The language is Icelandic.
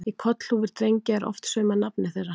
Í kollhúfur drengja er oft saumað nafnið þeirra.